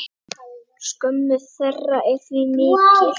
Skömm þeirra er því mikil.